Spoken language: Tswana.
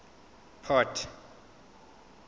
port